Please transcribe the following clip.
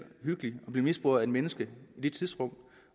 hyggeligt at blive misbrugt af et menneske i det tidsrum